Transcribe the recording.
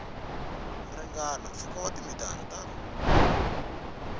ringana mpfhuka wa timitara ta